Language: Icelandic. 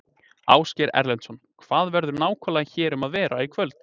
Ásgeir Erlendsson: Hvað verður nákvæmlega hér um að vera í kvöld?